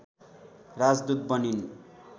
राजदूत बनिन्